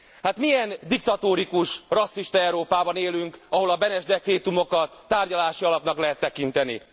Hát milyen diktatórikus, rasszista Európában élünk, ahol a Beneš dekrétumokat tárgyalási alapnak lehet tekinteni?